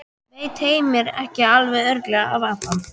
Veit Heimir ekki alveg örugglega af Adam?